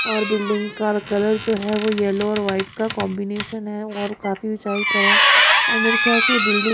और बिल्डिंग का कलर जो है। येलो और वाइट का कॉम्बिनेशन है और काफी उचाई पर है और खयाल से ये बिल्डिंग --